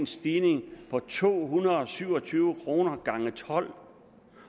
stigning på to hundrede og syv og tyve kroner gange tolv